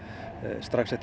strax eftir